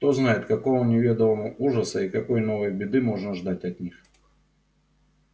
кто знает какого неведомого ужаса и какой новой беды можно ждать от них